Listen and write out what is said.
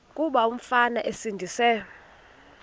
kuba umfana esindise